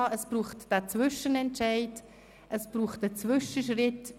Es braucht einen Zwischenentscheid, es braucht einen Zwischenschritt.